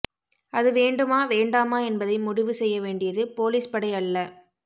அது வேண்டுமா வேண்டாமா என்பதை முடிவு செய்ய வேண்டியது போலீஸ் படை அல்ல